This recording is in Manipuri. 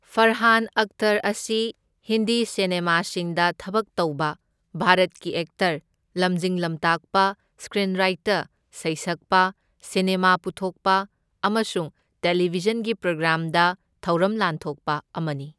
ꯐꯔꯍꯥꯟ ꯑꯦꯛꯇꯔ ꯑꯁꯤ ꯍꯤꯟꯗꯤ ꯁꯤꯅꯦꯃꯥꯁꯤꯡꯗ ꯊꯕꯛ ꯇꯧꯕ ꯚꯥꯔꯠꯀꯤ ꯑꯦꯛꯇꯔ, ꯂꯝꯖꯤꯡ ꯂꯝꯇꯥꯛꯄ, ꯁ꯭ꯀꯔꯤꯟꯔꯥꯏꯇꯔ, ꯁꯩꯁꯛꯄ, ꯁꯤꯅꯦꯃꯥ ꯄꯨꯊꯣꯛꯄ, ꯑꯃꯁꯨꯡ ꯇꯦꯂꯤꯚꯤꯖꯟꯒꯤ ꯄ꯭ꯔꯣꯒ꯭ꯔꯥꯝꯗ ꯊꯧꯔꯝ ꯂꯥꯟꯊꯣꯛꯄ ꯑꯃꯅꯤ꯫